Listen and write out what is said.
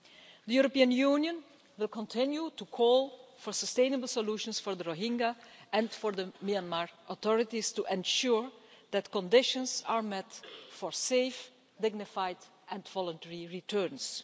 The European Union will continue to call for sustainable solutions for the Rohingya, and for the Myanmar authorities to ensure that conditions are met for safe, dignified and voluntary returns.